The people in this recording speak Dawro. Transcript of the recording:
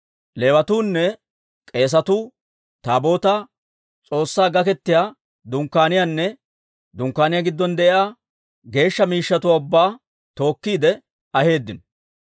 Leewatuunne k'eesatuu Taabootaa, S'oossaa Gaketiyaa Dunkkaaniyaanne Dunkkaaniyaa giddon de'iyaa geeshsha miishshatuwaa ubbaa tookkiide aheeddino.